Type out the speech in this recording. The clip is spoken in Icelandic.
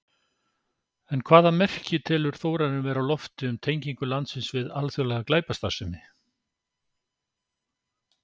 En hvaða merki telur Þórarinn vera á lofti um tengingu landsins við alþjóðlega glæpastarfsemi?